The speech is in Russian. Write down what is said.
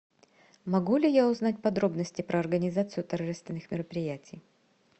могу ли я узнать подробности про организацию торжественных мероприятий